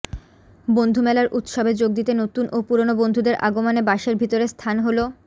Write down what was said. বন্ধুমেলার উৎসবে যোগ দিতে নতুন ও পুরোনো বন্ধুদের আগমনে বাসের ভেতরে স্থান হলো